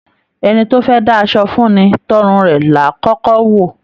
Ẹni tó fẹ dá'ṣọ fún ní, t'ọrùn rẹ làá kọkọ wò.